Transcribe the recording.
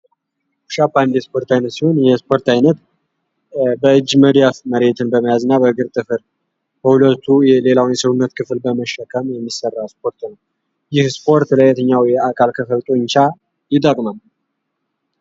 ፑሻፕ የስፖርት ዓይነት ሲሆን ይህ የስፖርት ዓይነት በእጅ መዳፍ መሬትን በመያዝና በእግርት ጥፍር በሁለቱ ሌላውን የስውነት ክፍል በመሸከም የሚሰራ ስፖርት ነው። ይህ ስፖርት ለየተኛው የአካል ክፍል ጡንቻ ይጠቅማል?